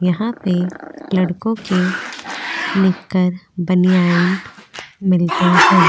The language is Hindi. यहां पे लड़कों के निक्कर बनियान मिलते हैं।